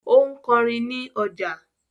Ó ń kọrin ní ọjà